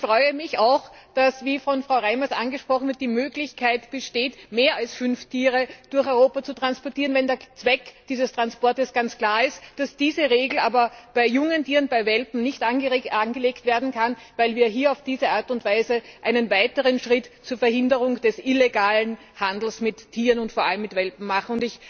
Ich freue mich auch, dass, wie von Frau Reimers angesprochen wird, die Möglichkeit besteht, mehr als fünf Tiere durch Europa zu transportieren, wenn der Zweck dieses Transportes ganz klar ist, dass diese Regel aber bei jungen Tieren, bei Welpen, nicht angelegt werden kann, weil wir hier auf diese Art und Weise einen weiteren Schritt zur Verhinderung des illegalen Handels mit Tieren und vor allem mit Welpen machen.